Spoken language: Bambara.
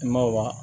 I ma wa